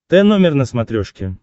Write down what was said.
т номер на смотрешке